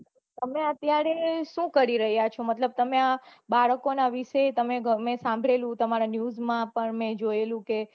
તમે અત્યારે શું કરી રહ્યા છો મતલબ બાળકો ના વિશે તમે ગમે તે સાંભળેલું તમારા news માં પન જોયેલું છે